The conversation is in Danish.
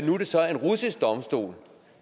nu er det så en russisk domstol